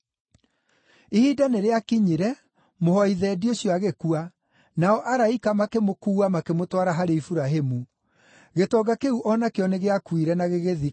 “Ihinda nĩrĩakinyire mũhooi thendi ũcio agĩkua, nao araika makĩmũkuua makĩmũtwara harĩ Iburahĩmu. Gĩtonga kĩu o nakĩo nĩgĩakuire na gĩgĩthikwo.